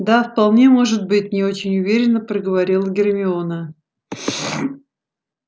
да вполне может быть не очень уверенно проговорила гермиона